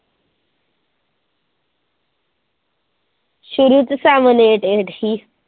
ਸ਼ੁਰੂ ਤੇ seven eight eight ਸੀ।